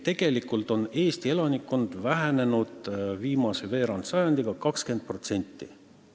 Tegelikult on Eesti elanikkond viimase veerandsajandiga vähenenud 20%.